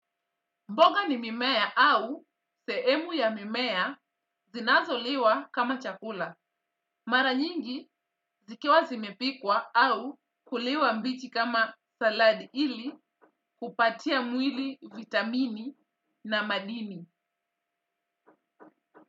Mboga ni mimea au sehemu ya mimea zinazoliwa kama chakula. Mara nyingi zikiwa zimepikwa au kuliwa mbichi kama saladi ili kupatia mwili vitamini na madini.